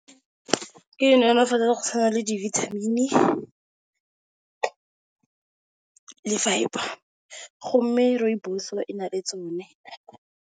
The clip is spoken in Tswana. Ke go tshwana le dibithamini le fibre mme rooibos-o e na le tsone.